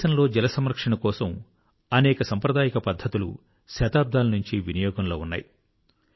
మన దేశంలో జలసంరక్షణ కొరకు అనేక సాంప్రదాయిక పద్ధతులు శతాబ్దాలనుంచి వినియోగంలో ఉన్నాయి